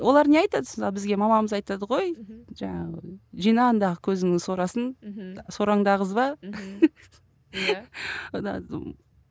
олар не айтады сонда бізге мамамыз айтады ғой жаңағы жина андағы көзіңнің сорасын мхм сораңды ағызба мхм ия